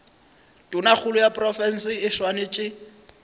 tonakgolo ya profense e swanetše